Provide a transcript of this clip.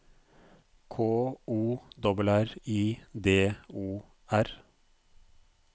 K O R R I D O R